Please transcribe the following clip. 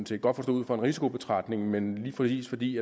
set godt forstå ud fra en risikobetragtning men lige præcis fordi